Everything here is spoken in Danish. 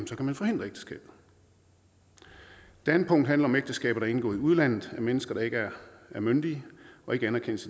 så kan man forhindre ægteskabet det andet punkt handler om ægteskaber der er indgået i udlandet af mennesker der ikke er myndige og det anerkendes